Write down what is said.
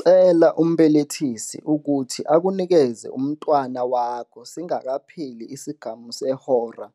Cela umbelethisi ukuthi akunikeze umntwana wakho singakapheli isigamu sehora